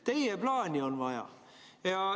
Teie plaani on vaja!